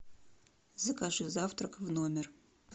закажи завтрак в номер